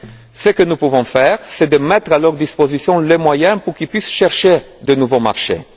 autre. Ce que nous pouvons faire, c'est mettre à leur disposition les moyens pour qu'ils puissent chercher de nouveaux